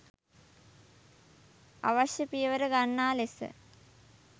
අවශ්‍ය පියවර ගන්නා ලෙස